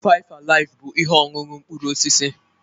Faifụ alifụ bụ ihe ọṅụṅụ mkpụrụ osisi.